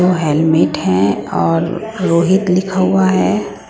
Helmet है और रोहित लिखा हुआ है।